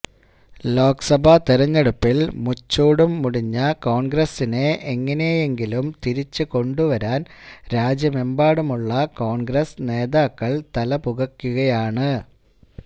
ലോക്സഭാ തെരഞ്ഞെടുപ്പിൽ മുച്ചൂടും മുടിഞ്ഞ കോൺഗ്രസിനെ എങ്ങനെയെങ്കിലും തിരിച്ചു കൊണ്ടുവരാൻ രാജ്യമെമ്പാടുമുള്ള കോൺഗ്രസ് നേതാക്കൾ തലപുകയ്ക്കുകയാണ്